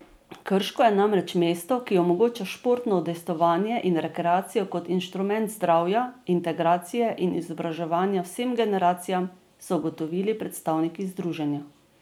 Krško je namreč mesto, ki omogoča športno udejstvovanje in rekreacijo kot instrument zdravja, integracije in izobraževanja vsem generacijam, so ugotovili predstavniki združenja.